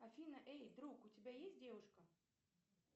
афина эй друг у тебя есть девушка